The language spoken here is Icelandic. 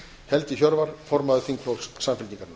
helgi hjörvar formaður þingflokks samfylkingarinnar